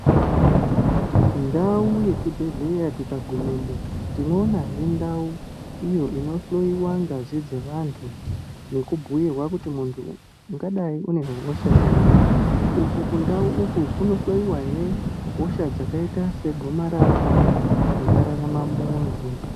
Ndau ye chibhedhleya tika gumemo tino ona hee ndau iyo ino hloyiwa ngazi dze vantu neku bhuyirwa kuti muntu ungadai une hosha iri uku ku ndau uku kuno hloyiwa hee hosha dzakaita se gomarara dzinga rarama muntu.